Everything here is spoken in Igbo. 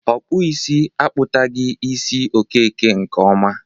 Ọkpụisi akpụtagi isi Okeke nke ọma.